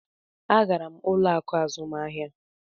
Agara m ụlọ akụ azụmahịa.